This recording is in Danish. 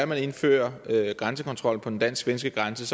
man indfører grænsekontrol på den dansk svenske grænse